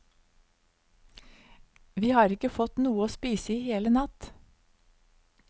Vi har ikke fått noe å spise i hele natt.